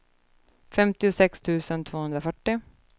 femtiosex tusen tvåhundrafyrtio